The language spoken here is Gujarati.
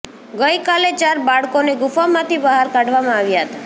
ગઈ કાલે ચાર બાળકોને ગુફામાંથી બહાર કાઢવામાં આવ્યા હતા